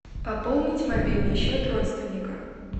пополнить мобильный счет родственника